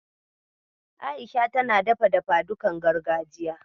A'isha tana dafa dafadukan gargajiya.